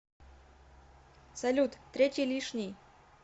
салют третий лишний